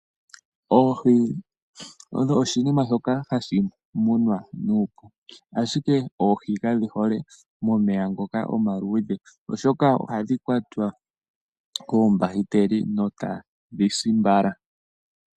Oohi odho oshinima shoka hashi munwa nuupu, ashike oohi kadhi hole momeya ngoka omaluudhe, oshoka ohadhi kwatwa koombahiteli etadhi si mbala.